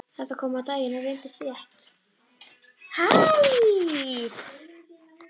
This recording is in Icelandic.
Þetta kom á daginn og reyndist rétt.